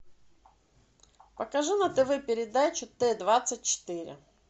покажи на тв передачу т двадцать четыре